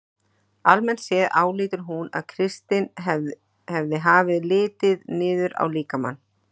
Almennt séð álítur hún að kristin hefð hafi litið niður á líkamann.